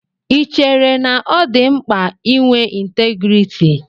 Ì chéré na ọ dị mkpa ị nwé ntégriiti?